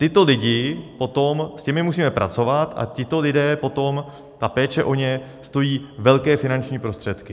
Tyto lidi potom, s těmi musíme pracovat a tito lidé potom, ta péče o ně stojí velké finanční prostředky.